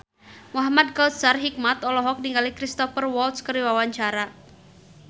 Muhamad Kautsar Hikmat olohok ningali Cristhoper Waltz keur diwawancara